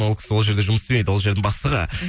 ол кісі ол жерде жұмыс істемейді ол жердің бастығы